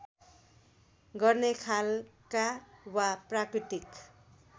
गर्ने खालका वा प्राकृतिक